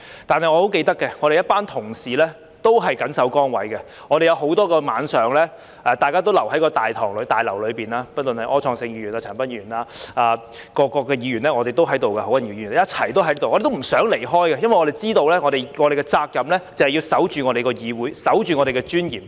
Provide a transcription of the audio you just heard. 但是我很記得，我們一班同事都緊守崗位，有很多個晚上都留在大樓內；不論是柯創盛議員、陳恒鑌議員、何君堯議員，各個議員都在這裏，都不想離開，因為我們知道我們的責任就是要守着我們的議會，守着我們的尊嚴。